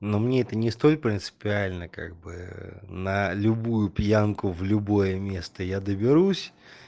но мне это не столь принципиально как бы на любую пьянку в любое место я доберусь